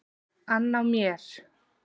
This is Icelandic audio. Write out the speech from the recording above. ann á mér.